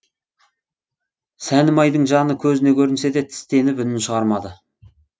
сәнімайдың жаны көзіне көрінсе де тістеніп үнін шығармады